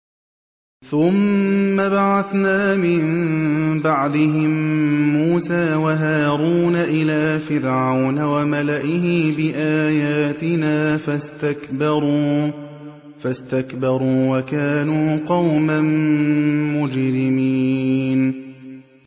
ثُمَّ بَعَثْنَا مِن بَعْدِهِم مُّوسَىٰ وَهَارُونَ إِلَىٰ فِرْعَوْنَ وَمَلَئِهِ بِآيَاتِنَا فَاسْتَكْبَرُوا وَكَانُوا قَوْمًا مُّجْرِمِينَ